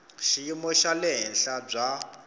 xiyimo xa le henhla bya